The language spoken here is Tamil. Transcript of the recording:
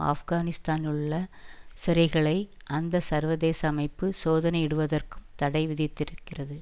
ஆப்கனிஸ்தாலுள்ள சிறைகளை அந்த சர்வதேச அமைப்பு சோதனையிடுவதற்கும் தடை விதித்திருக்கிறது